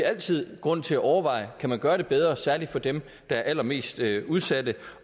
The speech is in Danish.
altid grund til at overveje om kan gøre det bedre særlig for dem der er allermest udsatte